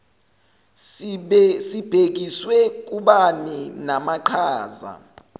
sibhekiswe kubani namaqhaza